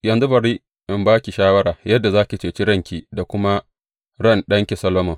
Yanzu bari in ba ki shawara yadda za ki cece ranki da kuma ran ɗanki Solomon.